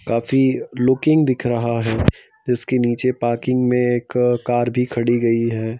काफी लुकिंग दिख रहा है इसके नीचे पाकिंग में एक कार भी खड़ी गई है।